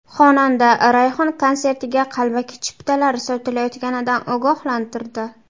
Xonanda Rayhon konsertiga qalbaki chiptalar sotilayotganidan ogohlantirdi.